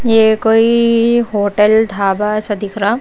ये कोई होटल ढाबा सा दिख रहा--